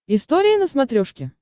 история на смотрешке